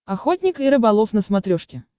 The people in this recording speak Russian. охотник и рыболов на смотрешке